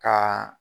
Ka